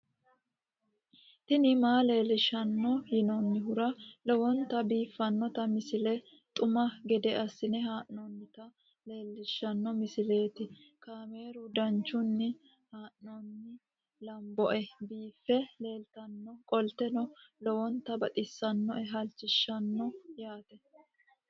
tini maa leelishshanno yaannohura lowonta biiffanota misile xuma gede assine haa'noonnita leellishshanno misileeti kaameru danchunni haa'noonni lamboe biiffe leeeltannoqolten lowonta baxissannoe halchishshanno yaate